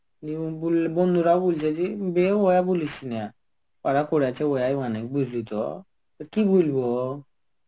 নিয়ে ওই বন্ধুরাও বলছে যে বেওয়া বলিস না. কারা করেছে ওয়াই জানে. বুঝলি তো. তো কি বলবো?